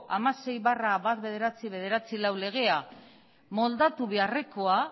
hamasei barra mila bederatziehun eta laurogeita hamalau legea moldatu beharrekoa